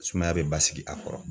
Sumaya be basigi a kɔrɔ.